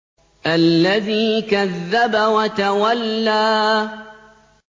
الَّذِي كَذَّبَ وَتَوَلَّىٰ